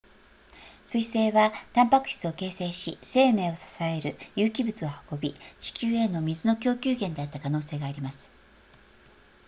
彗星はタンパク質を形成し生命を支える有機物を運び地球への水の供給源であった可能性があります